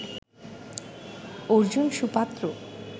Arjun সুপাত্র